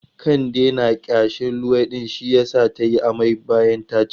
Kande na ƙyashin luwaiɗi shi yasa ta yi amai bayan ta ci.